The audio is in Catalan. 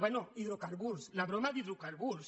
bé hidrocarburs la broma d’hidrocarburs